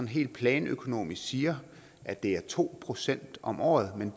helt planøkonomisk siger at det er to procent om året men